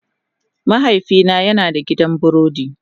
Mahaifina yana da gidan burodi.